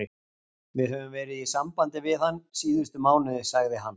Við höfum verið í sambandi við hann síðustu mánuði, sagði hann.